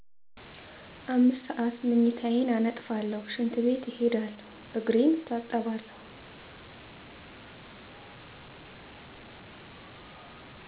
5 ሰዓት ምኝታየን አነጥፉለሁ ሽንት ቤት እሄዳለሁ እግሬን እታጠባለሁ።